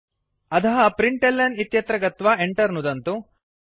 अधः println इत्यत्र गत्वा Enter नुदन्तु